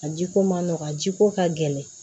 A jiko ma nɔgɔ a ji ko ka gɛlɛn